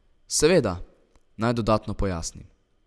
Seveda, naj dodatno pojasnim.